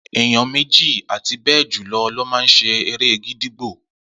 Eyan méjì àti bejulo lo ma ṣe eré gídígbò